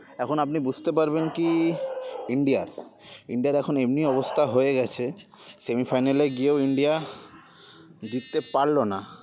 এখন আপনি বুঝতে পারবেন কী ইন্ডিয়ারটা ইন্ডিয়ার এখন এমনি অবস্থা হয়ে গেছে semi final গিয়ে ও ইন্ডিয়া জিততে পারলোনা